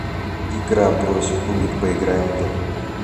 игра брось кубик поиграем в